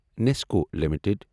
Nescoll limited